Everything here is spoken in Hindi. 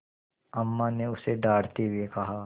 अम्मा ने उसे डाँटते हुए कहा